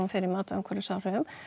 fyrir mat á umhverfisáhrifum